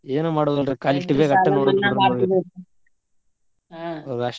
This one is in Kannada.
ಏನು ಮಾಡುದಿಲ್ರಿ .